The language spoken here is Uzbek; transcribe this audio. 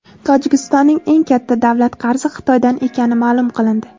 Tojikistonning eng katta davlat qarzi Xitoydan ekani maʼlum qilindi.